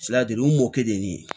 u mɔkɛ de ye nin ye